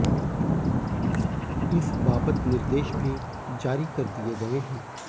इस बाबत निर्देश भी जारी कर दिए गए हंै